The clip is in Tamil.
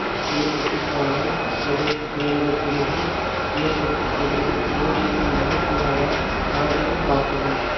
கிளிநொச்சி பளை பிரதேச செயலக பிரிவில் இயக்கச்சி பகுதியில் சிவபூமி அமைப்பினரால் நாய்கள் காப்பகம்